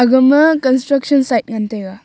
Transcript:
aga ma construction side ngan taiga.